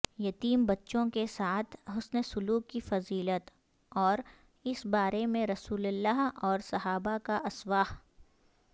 یتیم بچوں کے ساتھ حسن سلوک کی فضیلت اوراس بارے میں رسول اللہ اورصحابہ کااسوہ